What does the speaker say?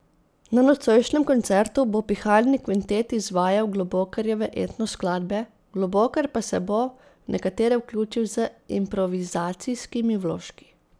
Na nocojšnjem koncertu bo pihalni kvintet izvajal Globokarjeve etno skladbe, Globokar pa se bo v nekatere vključil z improvizacijskimi vložki.